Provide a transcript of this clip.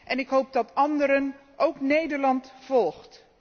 En ik hoop dat anderen, ook Nederland, volgen.